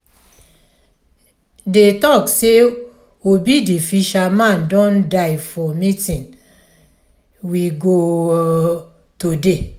dey talk say obi the fisherman don die for meeting we go um today